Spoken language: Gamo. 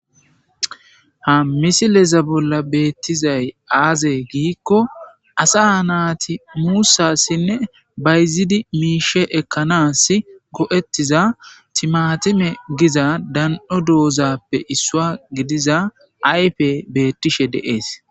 Ha misileza bolla beeththizay aazee giikko asaa naathi muussaassinne bayzzide miishshaa ekkanaassi go7eththiza thimaathime giza dan7o doozaappe issuwaa gidiza ayfee beeththishe de7ees.